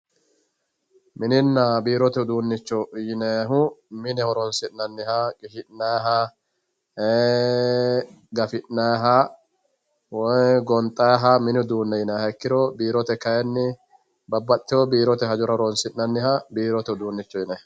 mininna biirote uduunnicho yinannihu mine horonsi'nanniha qishi'nanniha ee gafi'nnniha woy gonxanniha mini uduunne yinanniha ikkiro biirote kayiinni babbaxitino biirote hajjora horonsi'nanniha biirote uduunnicho yinanni.